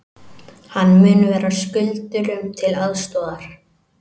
Hann mun vera skuldurum til aðstoðar